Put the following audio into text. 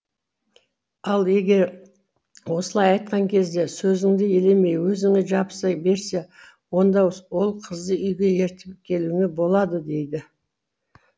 ал егер осылай айтқан кезде сөзіңді елемей өзіңе жабыса берсе онда ол қызды үйге ертіп келуіңе болады деді